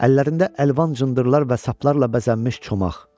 Əllərində əlvan cındırlar və saplarla bəzənmiş çomaq.